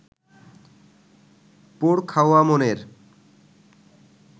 পোড় খাওয়া মনের